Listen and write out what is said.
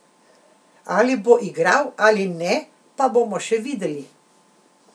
Ali bo igral ali ne pa bomo še videli.